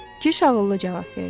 Kiş ağıllı cavab verdi.